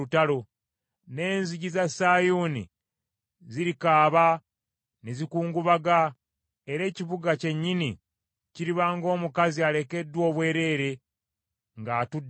N’enzigi za Sayuuni zirikaaba ne zikungubaga era ekibuga kyennyini kiriba ng’omukazi alekeddwa obwereere ng’atudde mu ttaka.